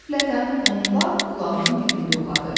Qəflətən onun lap qulağının dibində uladı.